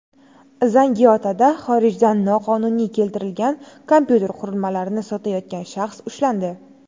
Zangiotada xorijdan noqonuniy keltirilgan kompyuter qurilmalarini sotayotgan shaxs ushlandi.